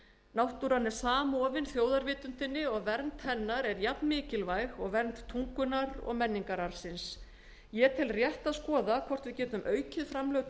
náttúran er samofin þjóðarvitundinni og vernd hennar er eins mikilvæg og vernd tungunnar og menningararfsins ég tel rétt að skoða hvort við getum þegar við réttum